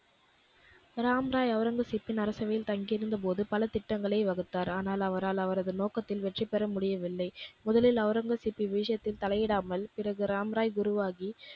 ராம்ராய் ஒளரங்கசீப்பின் அரசவையில் தங்கியிருந்த போது பல திட்டங்களை வகுத்தார். ஆனால் அவரால் அவரது நோக்கத்தில் வெற்றி பெறமுடியவில்லை. முதலில் ஒளரங்கசீப்பின் விஷயத்தில் தலையிடாமல் பிறகு ராம்ராய் குருவாகி